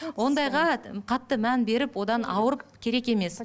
ондайға ы қатты мән беріп одан ауырып керек емес